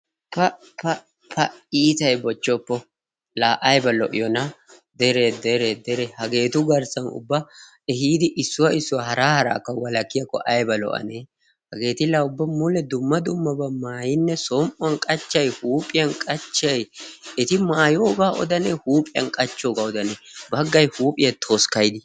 Pa! Pa! Pa! Iitay bochchoppo la ayiba.lo7iyoona deree deree deree hageetu garssan ubba ehiidi issuwa issuwa haraa haraakka walakkiyaakko ayba lo7anee eti la mule ubba dumma dummabaa maayinne som7uwan qachchayi huuphiyan qachchayi eti maayooga odanee huuphiyan qachchooga odanee baggay huuphiya toskkayidi.